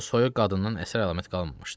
O soyuq qadından əsər-əlamət qalmamışdı.